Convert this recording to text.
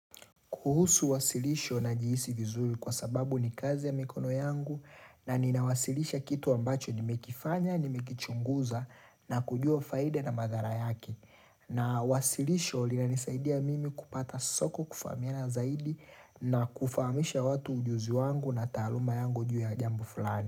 Kuhusu wasilisho na jiisi vizuri kwa sababu ni kazi ya mikono yangu na ninawasilisha kitu ambacho nimekifanya, nimekichunguza na kujua faide na madhara yake na wasilisho linanisaidia mimi kupata soko kufamia na zaidi na kufaamisha watu ujuzi wangu na taaluma yangu juu ya jambu fulani.